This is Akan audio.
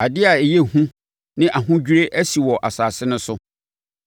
“Adeɛ a ɛyɛ hu ne ahodwirie asi wɔ asase no so: